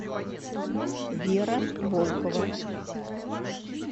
вера волкова